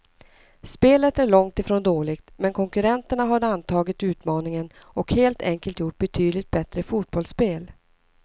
Spelet är långt ifrån dåligt, men konkurrenterna har antagit utmaningen och helt enkelt gjort betydligt bättre fotbollsspel.